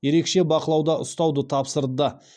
ерекше бақылауда ұстауды тапсырды